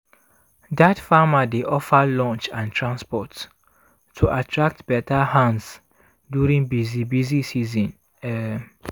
dat farmer dey offer lunch and transport to attract better hands during busy busy season. um